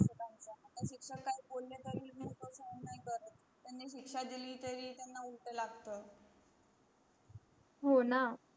कुणी सिक्सा दिली तरी त्यांना उलट लागत.